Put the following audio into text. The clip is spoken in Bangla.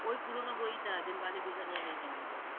ঐ পুরোনো বইটা, দিলওয়ালে দুলহানিয়া লে জায়েঙ্গে।